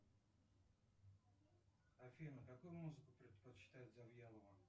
афина какую музыку предпочитает завьялова